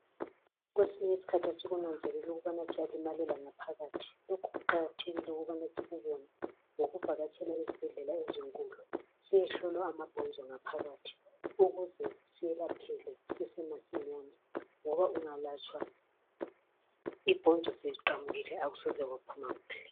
Kwesinye isikhathi asikunanzeleli ukubana siyalimalela ngaphakathi lokhu kuqakathekile ukubana sikubone ngokuvakatshela esibhedlela ezinkulu siyehlolwa amabhonzo ngaphakathi ukuze siyelapheke kusese masinyane ngoba ungalatshwa ibhonzo seliqamukile akusoze kwaphuma kuhle